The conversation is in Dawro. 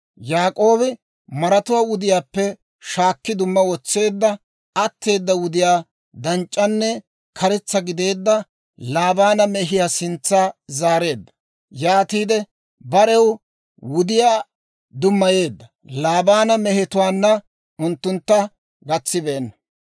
Yaak'oobi maratuwaa wudiyaappe shaakki dumma wotseedda; atteeda wudiyaa danc'c'anne karetsa gideedda Laabaana mehiyaa sintsa zaareedda. Yaatiide barew wudiyaa dummayeedda; Laabaana mehetuwaanna unttuntta gatsibeenna.